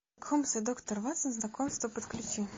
холмс и доктор ватсон знакомство подключи